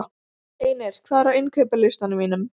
Einir, hvað er á innkaupalistanum mínum?